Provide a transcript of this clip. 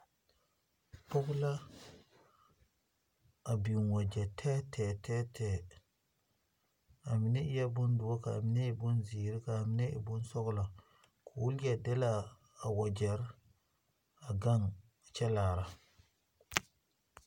pɔge la biŋ wakyɛ tɛɛtɛɛ tɛɛtɛ,a mine e boŋ doore,,a mine e zeere, a mine soglo, ka o leɛ delle a wakyɛre a gaŋ kyɛ laara